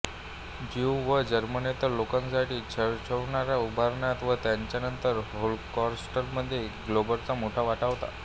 Jew व जर्मनेतर लोकांसाठी नाझी छळछावण्या उभारण्यात व त्यानंतरच्या होलोकॉस्टमध्ये ग्योबेल्सचे मोठा वाटा होता